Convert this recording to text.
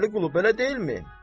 Vəli Qulu, belə deyilmi?